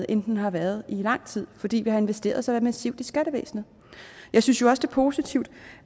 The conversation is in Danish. end den har været i lang tid fordi vi har investeret så massivt i skattevæsenet jeg synes jo også det er positivt